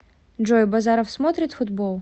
джой базаров смотрит футбол